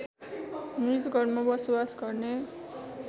निजगढमा बसोबास गर्ने